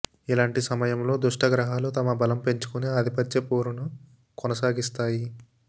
ఇలాంటి సమయంలో దుష్ట గ్రహాలు తమ బలం పెంచుకుని ఆధిపత్య పోరును కొనసాగిస్తాయి